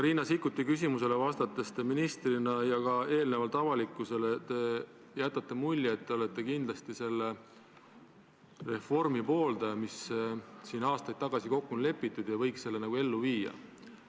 Riina Sikkuti küsimusele vastates ja ka varem avalikkusele olete ministrina jätnud mulje, et olete kindlasti selle reformi pooldaja, milles siin aastaid tagasi kokku on lepitud, ja et selle võiks nagu ellu viia.